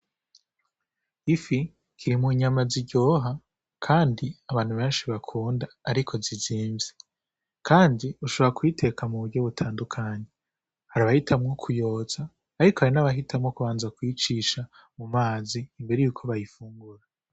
Ifi ziri mu nyama ziryoha kandi abantu benshi bakunda ariko zizimvye. Kandi ushobora kuyiteka mu buryo butandukanye. Hari abahitamwo kuyotsa ariko hari n'abahitamwo kubanza kuyicisha mu mazi imbere y'uko bayifungura.